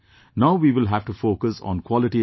Now we will have to focus on quality education